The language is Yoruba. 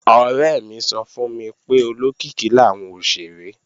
Ọ̀rẹ́ mi sọ fún mi pé olókìkí làwọn òṣèré